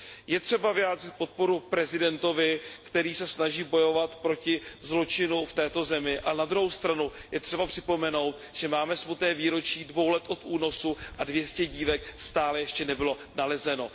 Je třeba vyjádřit podporu prezidentovi, který se snaží bojovat proti zločinu v této zemi, ale na druhou stranu je třeba připomenout, že máme smutné výročí 2 let od únosu a 200 dívek stále ještě nebylo nalezeno.